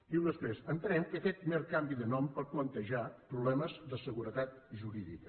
diu després entenem que aquest mer canvi de nom pot plantejar problemes de seguretat jurídica